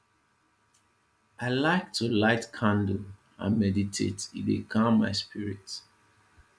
i like to light candle and meditate e dey calm my spirit